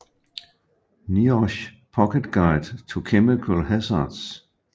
NIOSH Pocket Guide to Chemical Hazards